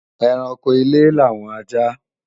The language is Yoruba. Ẹranko ilé làwọn ajá